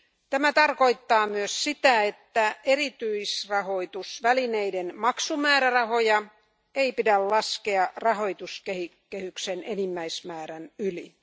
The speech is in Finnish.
Tämä tarkoittaa myös sitä, että erityisrahoitusvälineiden maksumäärärahoja ei pidä päästää rahoituskehyksen enimmäismäärän yli.